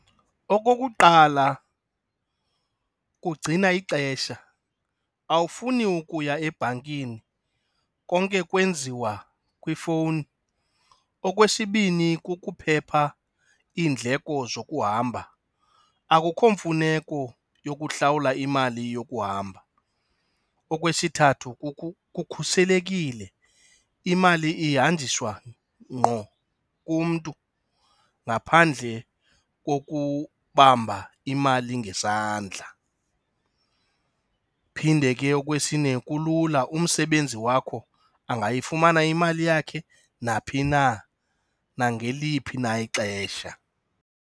Okokuqala kugcina ixesha, awufuni ukuya ebhankini konke kwenziwa kwiifowuni. Okwesibini kukuphepha iindleko zokuhamba, akukho mfuneko yokuhlawula imali yokuhamba. Okwesithathu kukhuselekile, imali ihanjiweswa ngqo kumntu ngaphandle kokubamba imali ngesandla. Phinde ke okwesine kulula umsebenzi wakho angayifumana imali yakhe naphi na, nangeliphi na ixesha.